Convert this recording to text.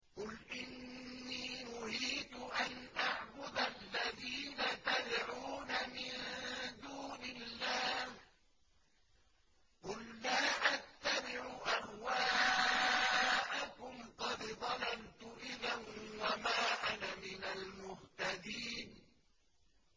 قُلْ إِنِّي نُهِيتُ أَنْ أَعْبُدَ الَّذِينَ تَدْعُونَ مِن دُونِ اللَّهِ ۚ قُل لَّا أَتَّبِعُ أَهْوَاءَكُمْ ۙ قَدْ ضَلَلْتُ إِذًا وَمَا أَنَا مِنَ الْمُهْتَدِينَ